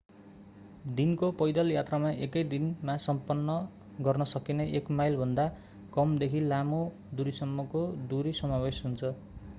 दिनको पैदल यात्रामा एकै दिनमा सम्पन्न गर्न सकिने एक माइलभन्दा कम देखि लामो दूरी सम्मको दूरी समावेश हुन्छ